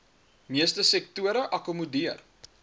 meeste sektore akkommodeer